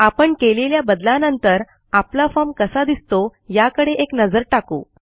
आपण केलेल्या बदलानंतर आपला फॉर्म कसा दिसतो याकडे एक नजर टाकू